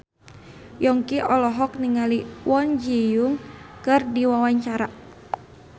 Yongki olohok ningali Kwon Ji Yong keur diwawancara